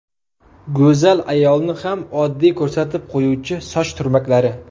Go‘zal ayolni ham oddiy ko‘rsatib qo‘yuvchi soch turmaklari.